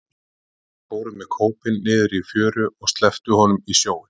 Þeir fóru með kópinn niður í fjöru og slepptu honum í sjóinn.